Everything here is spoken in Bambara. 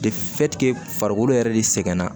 farikolo yɛrɛ de sɛgɛnna